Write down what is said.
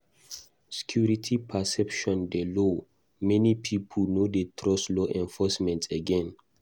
Security perception dey low; many pipo no dey trust law enforcement again.